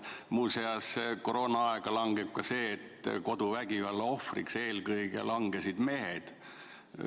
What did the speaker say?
Muuseas, koroonaaega langeb ka see, et koduvägivalla ohvriks langesid eelkõige mehed.